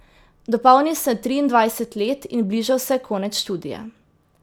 Dopolnil sem triindvajset let in bližal se je konec študija.